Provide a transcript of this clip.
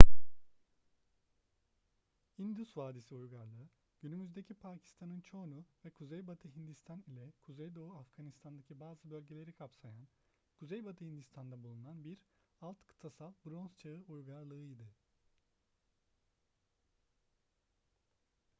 i̇ndus vadisi uygarlığı günümüzdeki pakistan'ın çoğunu ve kuzeybatı hindistan ile kuzeydoğu afganistan'daki bazı bölgeleri kapsayan kuzeybatı hindistan'da bulunan bir alt-kıtasal bronz çağı uygarlığıydı